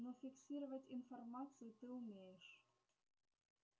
но фиксировать информацию ты умеешь